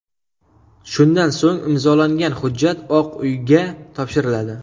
Shundan so‘ng imzolangan hujjat Oq uyga topshiriladi.